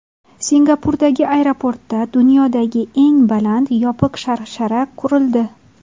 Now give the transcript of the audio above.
Singapurdagi aeroportda dunyodagi eng baland yopiq sharshara qurildi .